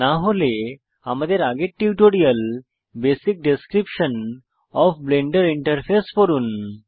না হলে আমাদের আগের tutorial basic description of Blender interface পড়ুন